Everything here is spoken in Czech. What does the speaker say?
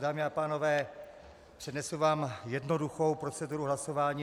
Dámy a pánové, přednesu vám jednoduchou proceduru hlasování.